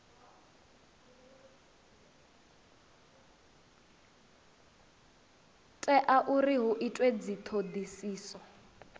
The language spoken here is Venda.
tea uri hu itwe dzithodisiso